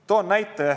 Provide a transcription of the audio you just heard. Toon näite.